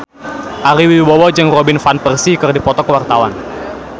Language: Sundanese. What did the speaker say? Ari Wibowo jeung Robin Van Persie keur dipoto ku wartawan